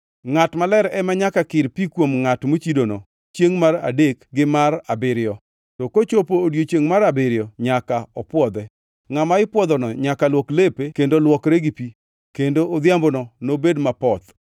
Ngʼat maler ema nyaka kir pi kuom ngʼat mochidono chiengʼ mar adek gi mar abiriyo, to kochopo e odiechiengʼ mar abiriyo nyaka opwodhe. Ngʼama ipwodhono nyaka luok lepe kendo luokre gi pi, kendo odhiambono nobed mapoth.